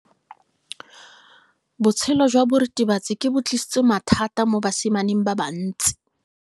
Botshelo jwa diritibatsi ke bo tlisitse mathata mo basimaneng ba bantsi.